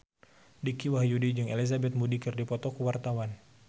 Dicky Wahyudi jeung Elizabeth Moody keur dipoto ku wartawan